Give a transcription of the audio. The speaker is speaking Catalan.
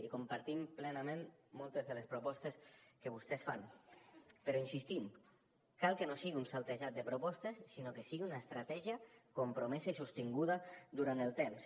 i compartim plenament moltes de les propostes que vostès fan però insistim cal que no sigui un saltejat de propostes sinó que sigui una estratègia compromesa i sostinguda durant el temps